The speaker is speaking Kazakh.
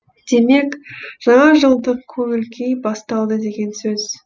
демек жаңажылдық көңіл күй басталды деген сөз